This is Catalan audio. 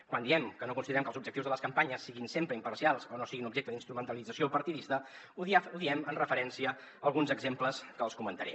quan diem que no considerem que els objectius de les campanyes siguin sempre imparcials o no siguin objecte d’instrumentalització partidista ho diem amb referència a alguns exemples que els comentaré